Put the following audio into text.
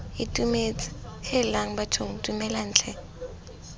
itumetse heelang bathong dumelang tlhe